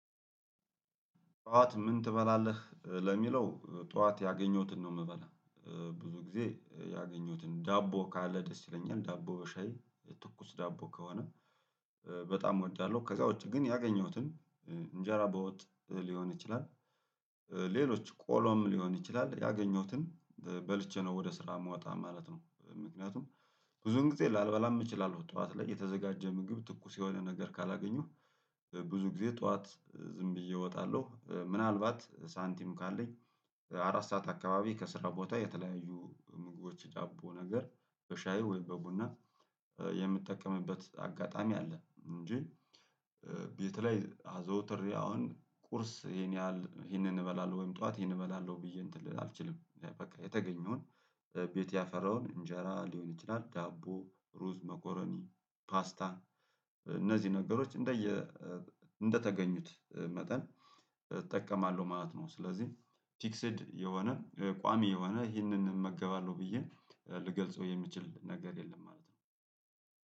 ጠዋት? ምን ትበላለህ ለሚለው ጠዋት ያገኘሁትን ነው እምበላ ብዙ ጊዜ ያገኘሁትን ዳቦ ካለ ደስ ይለኛል ዳቦ በሻይ ትኩስ ዳቦ ከሆነ በጣም እወዳለሁ። ከዛ ውጪ ግን ያገኘሁትን እንጀራ በወጥ ሊሆን ይችላል። ሌሎች ቆሎም ሊሆን ይችላል ያገኘሁትን በልቼ ነው ወደ ስራ እመወጣ ማለት ነው። ምክንያቱም ብዙ ጊዜ ላልበላም እችላለሁ። ጠዋት ላይ የተዘጋጀ ምግብ ትኩስ የሆነ ነገር ካላገኙህ ብዙ ጊዜ ጠዋት ዝም ብዬ እወጣለሁ። ምናልባት ሳንቲም ካለኝ አራት ሰዓት አካባቢ ከስራ ቦታ የተለያዩ ምግቦች ዳቦ ነገር በሻይ ወይም በቡና የምትጠቀምበት አጋጣሚ አለ። እንጂ ቤት ላይ አዘወትሬ አሁን ቁርስ ይሄን ያህል ይሄንን እበላለሁ ወይም ጠዋት ይሄንን እበላለሁ ብዬ እንትን ልል አልችልም። በቃ የተገኘውን ቤት ያፈራውን እንጀራ ሊሆን ይችላል ዳቦ ሩዝ መኮረኒ ፓስታ እነዚህ ነገሮች እንደየ እንደተገኙት መጠን እጠቀማለሁ ማለት ነው። ስለዚህ ፊክስድ የሆነ ቋሚ የሆነ ይህንን እመገባለሁ ብዬ ልገልጸው የምችል ነገር የለም ማለት ነው።